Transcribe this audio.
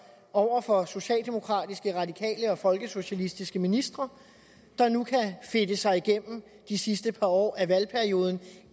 over for socialdemokratiske radikale og folkesocialistiske ministre der nu kan fedte sig gennem det sidste par år af valgperioden